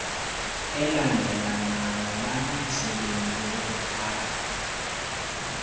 elandelelanayo banomsebenzi wokuthatha